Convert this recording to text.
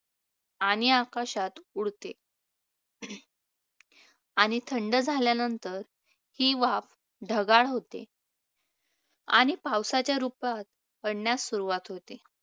आणि आकाशात उडते आणि थंड झाल्यानंतर ही वाफ ढगाळ होते आणि पावसाच्या रूपात पडण्यास सुरूवात होते.